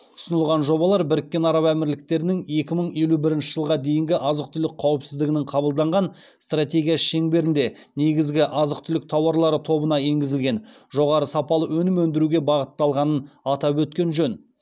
ұсынылған жобалар біріккен араб әмірліктерінің екі мың елу бірінші жылға дейінгі азық түлік қауіпсіздігінің қабылданған стратегиясы шеңберінде негізгі азық түлік тауарлары тобына енгізілген жоғары сапалы өнім өндіруге бағытталғанын атап өткен жөн